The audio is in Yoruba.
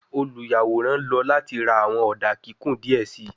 Oluyaworan lọ lati ra awọn oda kikun diẹ sii